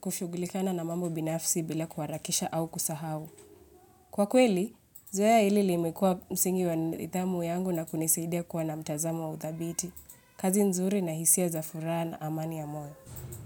kushugulikana na mambo binafsi bila kuharakisha au kusahau. Kwa kweli, zoeya ili limekua msingi wa nidhamu yangu na kunisaidia kuwa na mtazamo wa udhabiti. Kazi nzuri na hisia za furaha na amani ya moyo.